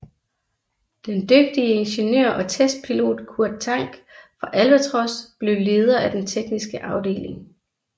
Den dygtige ingeniør og testpilot Kurt Tank fra Albatros blev leder af den tekniske afdeling